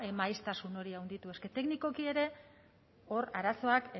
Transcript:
maiztasun hori handitu es que teknikoki ere hor arazoak